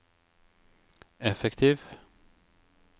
effektiv